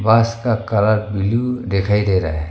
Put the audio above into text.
बस का colour blue दिखाई दे रहा है।